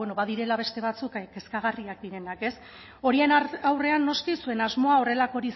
bueno badirela beste batzuk kezkagarriak direnak horien aurrean noski zuen asmoa horrelakorik